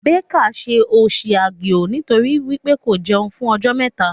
Becca ṣe òṣì aguo nitori wípé ko jẹun fún ọjọ́ mẹta.